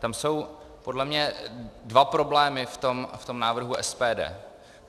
Tam jsou podle mě dva problémy v tom návrhu SPD.